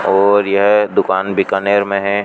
और यह दुकान बीकानेर में है।